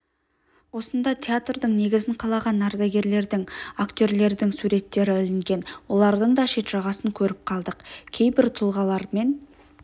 осында театрдың негізін қалаған ардагерлердің актерлердің суреттері ілінген олардың да шет жағасын көріп қалдық кейбір тұлғалармен